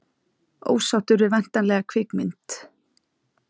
Ósáttur við væntanlega kvikmynd